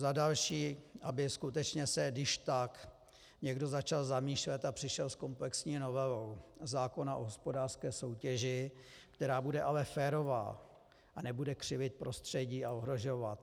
Za další, aby skutečně se když tak někdo začal zamýšlet a přišel s komplexní novelou zákona o hospodářské soutěži, která bude ale férová a nebude křivit prostředí a ohrožovat.